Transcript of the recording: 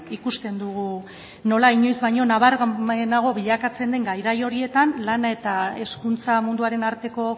ikusten dugu nola inoiz baino nabarmenago bilakatzen den garai horietan lan eta hezkuntza munduaren arteko